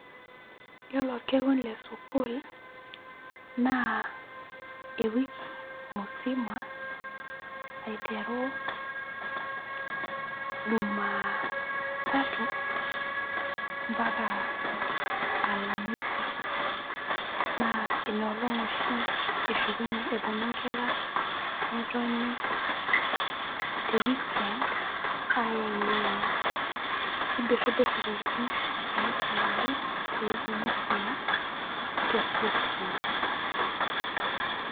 Yiolo orkekun le sukuul naa ewiki musima aiteru Jumatatu ampaka Alhamisi naa ina olong' oshi eshukunyie eponu inkera netoni te weekend ayeng'iyeng'a nibirribir intokiting naisumaki tewiki musima te sukuul.